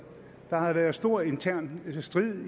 der har været stor intern strid